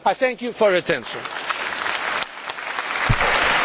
Dziękuję bardzo, Panie Przewodniczący Komisji, za